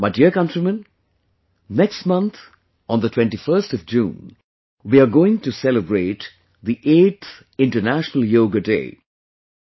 My dear countrymen, next month on the 21st of June, we are going to celebrate the 8th 'International Yoga Day'